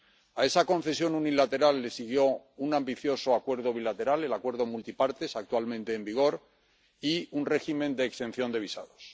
A esa concesión unilateral le siguió un ambicioso acuerdo bilateral, el Acuerdo Multipartes, actualmente en vigor, y un régimen de exención de visados.